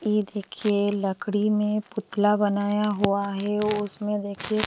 ये देखिए लकड़ी में पुतला बनाया हुआ है उसमें देखिए --